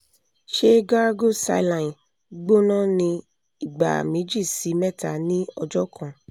ṣe gargle saline gbona ni igba meji si mẹta ni ọjọ kan